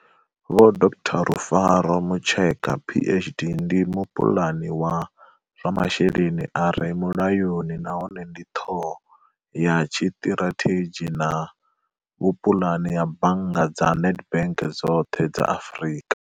Vho Dr Rufaro Mucheka PhD ndi mupuḽani wa zwa mashelelni a re mulayoni nahone ndi ṱhoho ya tshiṱirathedzhi na vhu puḽani ha bannga dza nedbank dzoṱhe dza Afrika.